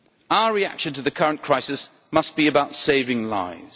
Our reaction to the current crisis must be about saving lives.